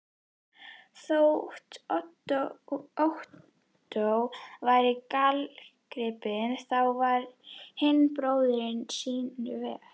Þótt Ottó væri gallagripur, þá var hinn bróðirinn sýnu verri.